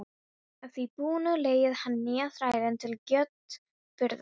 Að því búnu leigði hann nýja þrælinn til grjótburðar.